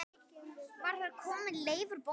Var þar kominn Leifur bóndi.